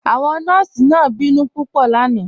Awọn nọọ̀sí náà bínú pupọ̀ lánà